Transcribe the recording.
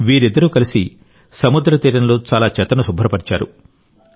వీరిద్దరూ కలిసి సముద్ర తీరంలో చాలా చెత్తను శుభ్రపరిచారు